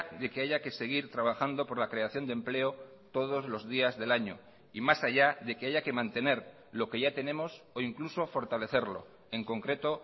de que haya que seguir trabajando por la creación de empleo todos los días del año y más allá de que haya que mantener lo que ya tenemos o incluso fortalecerlo en concreto